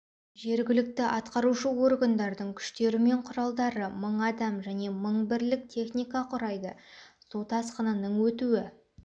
жергілікті атқарушы органдардың күштері мен құралдары мың адам және мың бірлік техника құрайды су тасқынының өтуі